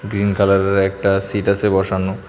Green কালারের একটা seat আছে বসানো।